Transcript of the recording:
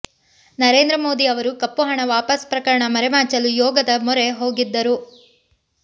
ನರೇಂದ್ರ ಮೋದಿ ಅವರು ಕಪ್ಪು ಹಣ ವಾಪಸ್ ಪ್ರಕರಣ ಮರೆಮಾಚಲು ಯೋಗದ ಮೊರೆ ಹೋಗಿದ್ದರು